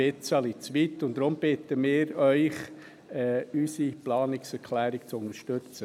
Deshalb bitten wir Sie, unsere Planungserklärung zu unterstützen.